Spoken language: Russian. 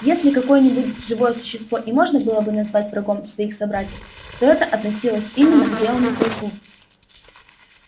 если какое нибудь живое существо и можно было бы назвать врагом своих собратьев то это относилось именно к белому клыку